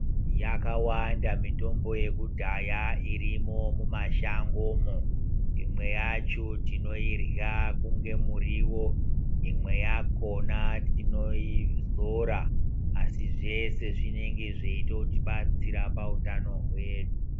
Yakawanda mitombo yekudhaya irimwo mumashangomwo imwe yacho tinoirwa kunge muriwo imwe yakona tinoizora asi zvese zvinenge zveitotibatsira pautano hwedu.